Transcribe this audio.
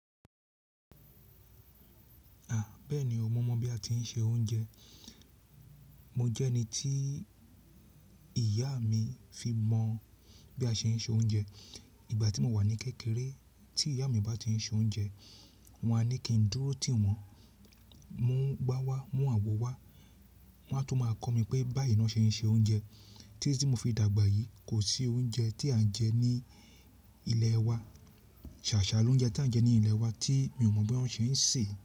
À, bẹ́ẹ̀ni o, mo mọ bí a ti ń se oúnjẹ. Mo jẹ́ ẹni tí ìyá mi fi mọ bí a ṣe ń se oúnjẹ. Ìgbà tí mo wà ní kékeré tí ìyá mi bá ti ń se oúnjẹ, wọn a ní kí n dúró tìwọn, mú igbá wá, mú àwọ̀ wá. Wọn a tún máa kọ́ mi pé báyìí náà ṣe ń se oúnjẹ. Títí tí mo fi dàgbà yìí, kò sí oúnjẹ tí à ń jẹ ní ilé wa, sàsá ló ń jẹ tí à ń jẹ ní ilé wa tí mi ò mọ bí wọ́n ṣe ń sè.